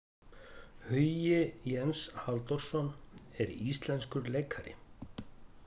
Hugi Jens Halldórsson er íslenskur leikari.